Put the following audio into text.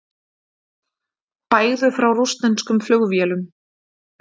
Bægðu frá rússneskum flugvélum